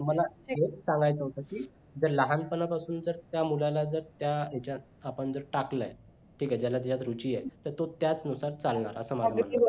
हेच सांगायचा होता की जर लहानपणापासून जर त्या मुलाला जर त्या ह्याच्यात आपण जर टाकलाय ठीक आहे ज्याच्यात त्याला रुची आहे तो त्याचनुसार चालणार असं माझं म्हणणं आहे